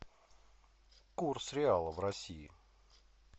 курс реала в россии